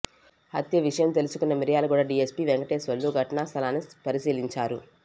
హత్య విషయం తెలుసుకున్న మిర్యాలగూడ డీఎస్పీ వెంకటేశ్వర్లు ఘటన స్థలాన్ని పరిశీలించారు